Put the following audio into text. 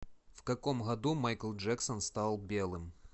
в каком году майкл джексон стал белым